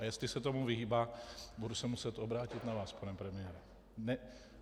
A jestli se tomu vyhýbá, budu se muset obrátit na vás, pane premiére.